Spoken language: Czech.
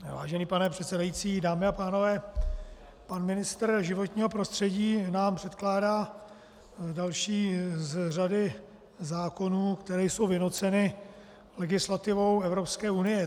Vážený pane předsedající, dámy a pánové, pan ministr životního prostředí nám předkládá další z řady zákonů, které jsou vynuceny legislativou Evropské unie.